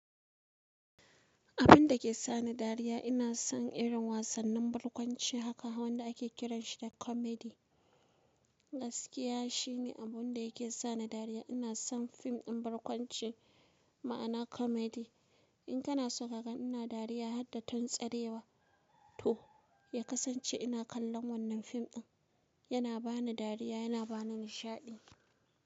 Abun da ke sa ni dariya ina son irin wasannin barkwanci haka wanda ake kiranshi da kamedi. Gaskiya shine abun da yake sa ni dariya. Ina son fim ɗin barkwanci, ma'ana kamedi. In kana so ka ga ina dariya har ta tun tsarewa to, ya kasance ina kallon wannan fim ɗin. Yana ba ni dariya, yana ba ni nishaɗi.